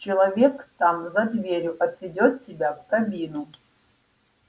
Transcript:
человек там за дверью отведёт тебя в кабину